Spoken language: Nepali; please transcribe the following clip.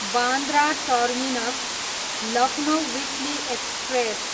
Bandra terminus, Lucknow weekly express